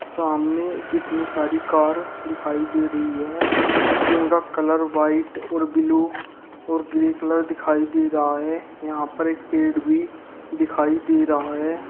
सामने कितनी सारी कार दिखाई दे रही है जिनका कलर व्हाइट और बिलु और ग्रे कलर दिखाई दे रहा है यहां पर एक पेड़ भी दिखाई दे रहा है।